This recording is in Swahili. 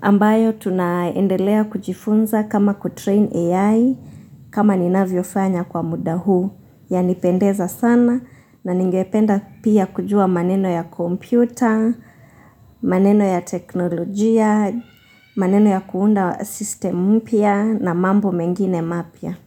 ambayo tunaendelea kujifuna kama ku train AI kama ninavyofanya kwa muda huu yanipendeza sana na ningependa pia kujua maneno ya kompyuta maneno ya teknolojia, maneno ya kuunda system mpya na mambo mengine mapya.